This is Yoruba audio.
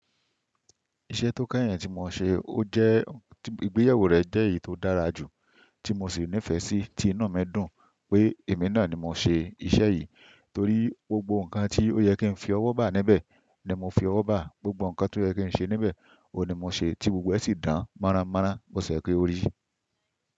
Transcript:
Iṣẹ́ tó kẹ́yìn tí mo ṣe ó jẹ́, ìgbéyewó rẹ̀ jẹ́ èyí tó dára jù, tí mo sì ní ìfẹ́ sí, tí inu mi dùn pé èmi náà ni mo ṣe iṣẹ́ yìí torí gbogbo nǹkan tí ó yẹ kí n fi ọwọ́ bà níbẹ̀ ni mo fi ọwọ́ bà, gbogbo nǹkan tí ó yẹ kí n ṣe níbẹ̀ ò ní mo ṣe tí gbogbo ẹ sì dán mọ́rán mọ́rán, bió sẹ́ yé kió rí.